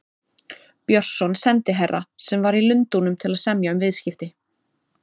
Björnsson sendiherra, sem var í Lundúnum til að semja um viðskipti.